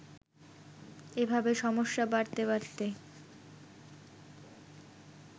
এভাবে সমস্যা বাড়তে বাড়তে